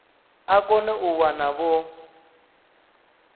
a kone u wana vho